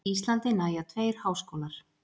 Íslandi nægja tveir háskólar